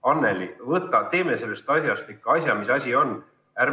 Anneli, teeme sellest asjast ikka asja, mis asi on!